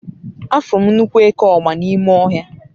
afuru m nnukwu eke ogba n'ime ohia